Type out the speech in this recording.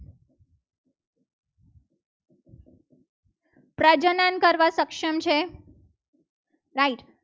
કરવા સક્ષમ છે. right